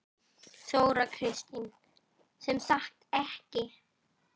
Þóra Kristín: Sem sagt ekki?